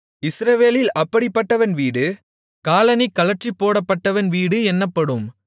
இஸ்ரவேலில் அப்படிப்பட்டவன் வீடு காலணி கழற்றிப்போடப்பட்டவன் வீடு என்னப்படும்